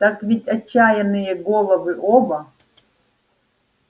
так ведь отчаянные головы оба